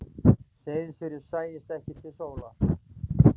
Seyðisfirði sæist ekki til sólar.